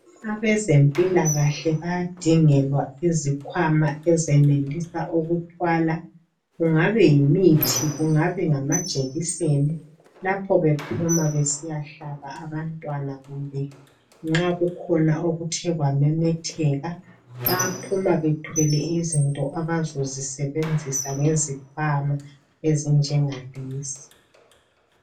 Abezempilakahle bayadingelwa izikhwama ezenelisa ukuthwala kungabe yimithi, kungabe ngamajekiseni, lapho bephuma besiyahlaba abantwana, kumbe nxa kukhona okuthe kwamemetheka, bayaphuma bethwele izinto abazozisebenzisa ngezikhwama ezingengalezi.